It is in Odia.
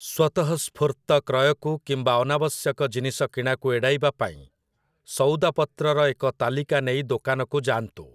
ସ୍ପତଃସ୍ଫୂର୍ତ୍ତ କ୍ରୟକୁ କିମ୍ବା ଅନାବଶ୍ୟକ ଜିନିଷ କିଣାକୁ ଏଡ଼ାଇବା ପାଇଁ ସଉଦାପତ୍ରର ଏକ ତାଲିକା ନେଇ ଦୋକାନକୁ ଯାଆନ୍ତୁ ।